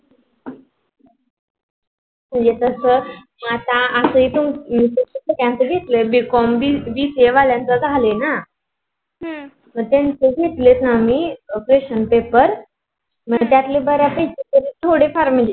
म्हणजे कस आता असाही BCOMBCA वाल्यांचा झ्हालाय ना मग त्यांचे घेतलेत ना हम्म आम्ही question paper मग त्यातले बऱ्यापैकी तरी थोडे फार म्हणजे.